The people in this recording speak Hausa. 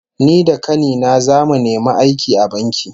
Ni da kani na zamu nemi aiki a banki